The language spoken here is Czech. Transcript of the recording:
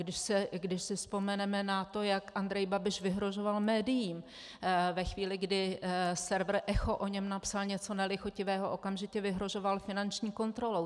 Když si vzpomeneme na to, jak Andrej Babiš vyhrožoval médiím ve chvíli, kdy server Echo o něm napsal něco nelichotivého, okamžitě vyhrožoval finanční kontrolou.